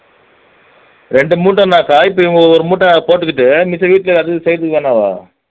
இரண்டு மூட்டைன்னாக்கா இப்போ இவங்க ஒரு மூட்டை போட்டுக்கிட்டு மிச்சம் செய்யிறதுக்கு என்னவாம்